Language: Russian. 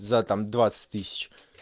за там двадцать тысяч